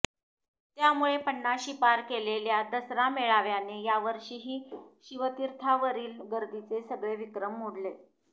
त्यामुळे पन्नाशी पार केलेल्या दसरा मेळाव्याने या वर्षीही शिवतीर्थावरील गर्दीचे सगळे विक्रम मोडले